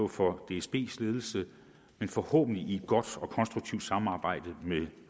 for dsbs ledelse men forhåbentlig i et godt og konstruktivt samarbejde med